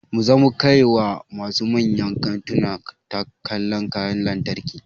Mu zamu kai wa masu manyan kantuna tallan kayan lantarki